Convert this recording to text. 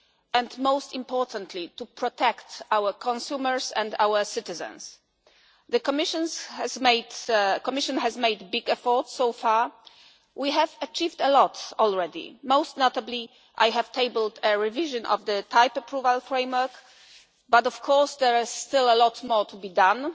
and most importantly, to protect our consumers and our citizens. The Commission has made big efforts so far. We have achieved a lot already. Most notably, I have tabled a revision of the type approval framework, but of course there is still a lot more to be